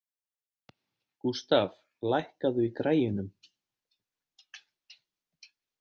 Gústaf, lækkaðu í græjunum.